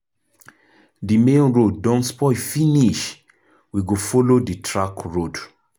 Di main road don spoil finish, we go folo di track road.